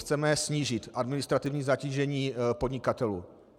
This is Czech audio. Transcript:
Chceme snížit administrativní zatížení podnikatelů.